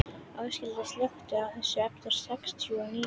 Áshildur, slökktu á þessu eftir sextíu og níu mínútur.